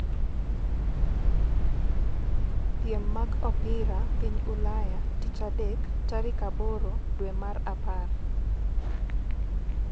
piem mag opira piny Ulaya tich adek tarik aboro dwe mar apar